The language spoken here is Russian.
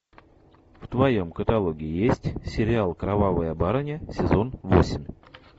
в твоем каталоге есть сериал кровавая барыня сезон восемь